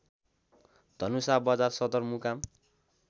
धनुषा बजार सदरमुकाम